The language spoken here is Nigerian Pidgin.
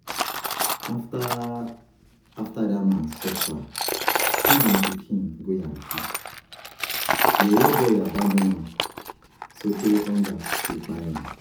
After dat man suffer send im pikin go Yankee, di yeye boy abandon am sotee hunger e kpai am.